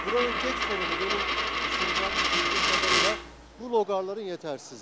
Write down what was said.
Buranın tək sorunu mənim düşüncəm, bildiyim qadarıyla bu loğarların yetərsizliyidir.